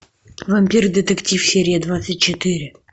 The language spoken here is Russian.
вампир детектив серия двадцать четыре